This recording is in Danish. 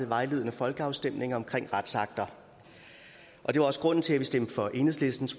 vejledende folkeafstemninger om retsakter det var også grunden til at stemte for enhedslistens